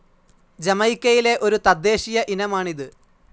ജമൈക്കയിലെ ഒരു തദ്ദേശീയ ഇനമാണിത്.